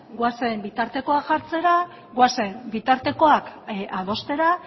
goazen bitartekoak jartzera goazen bitartekoak adostera